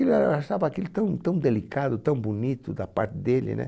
E eh, eu achava aquilo tão tão delicado, tão bonito da parte dele, né?